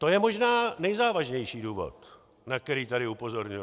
To je možná nejzávažnější důvod, na který tady upozorňuji.